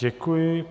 Děkuji.